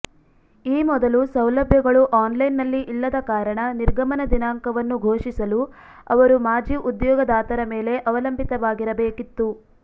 ಈ ಮೊದಲು ಸೌಲಭ್ಯಗಳು ಆನ್ಲೈನ್ನಲ್ಲಿ ಇಲ್ಲದ ಕಾರಣ ನಿರ್ಗಮನ ದಿನಾಂಕವನ್ನು ಘೋಷಿಸಲು ಅವರು ಮಾಜಿ ಉದ್ಯೋಗದಾತರ ಮೇಲೆ ಅವಲಂಬಿತವಾಗಿರ ಬೇಕಿತ್ತು